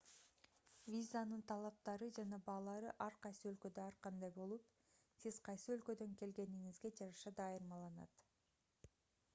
визанын талаптары жана баалары ар кайсы өлкөдө ар кандай болуп сиз кайсы өлкөдөн келгениңизге жараша да айырмаланат